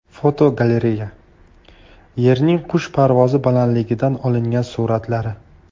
Fotogalereya: Yerning qush parvozi balandligidan olingan suratlari.